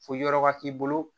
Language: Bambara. Fo yɔrɔ ka k'i bolo